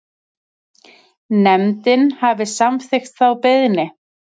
Nefndin hafi samþykkt þá beiðni.